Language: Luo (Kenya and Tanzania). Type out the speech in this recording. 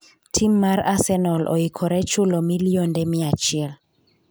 tim mar Arsenal oikore chulo milionde mia achiel